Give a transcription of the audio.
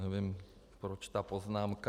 Nevím, proč ta poznámka.